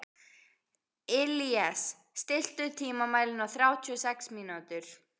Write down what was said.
Illíes, stilltu tímamælinn á þrjátíu og sex mínútur.